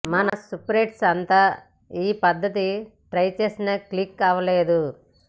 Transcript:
మన సూపర్స్టార్స్ అంతా ఈ పద్ధతి ట్రై చేసినా క్లిక్ అవలేదు